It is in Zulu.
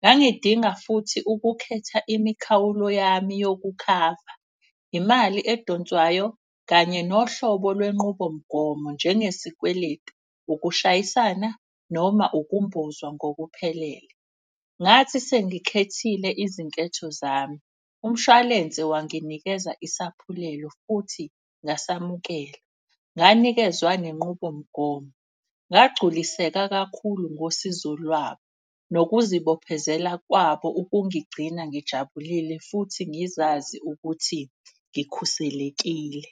Ngangidinga futhi ukukhetha imikhawulo yami yokukhava, imali edonswayo kanye nohlobo lwenqubomgomo. Njenge sikweletu, ukushayisana noma ukumbozwa ngokuphelele. Ngathi sengikhethile izinketho zami umshwalense wanginikeza isaphulelo futhi ngasamukela. Nganikezwa nenqubomgomo, ngagculiseka kakhulu ngosizo lwabo nokuzibophezela kwabo. Ukungigcina ngijabulile futhi ngizazi ukuthi ngikhuselekile.